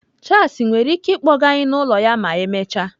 Charles nwere ike ịkpọga anyị n'ụlọ ya ma emechaa?